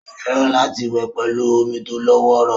Ó fẹ́ràn láti wẹ̀ pẹ̀lú omi tó lọ́wọ́rọ́